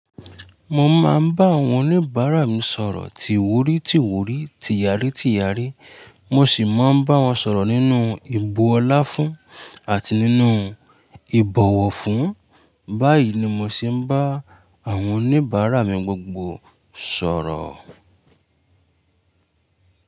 Mo máa ń bá àwọn oníbàárà mi sọ̀rọ̀ ti wurí ti wurí ti yárí ti yárí. Mo sì máa ń bá wọn sọ̀rọ̀ nínú ìbu ọlá fún àti nínú ìbọ̀wọ̀ fún. Báyìí ni mo sì ń bá àwọn oníbàárà mi gbogbo sọ̀rọ̀